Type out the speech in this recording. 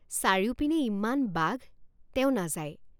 চাৰিওপিনে ইমান বাঘ তেও নাযায়।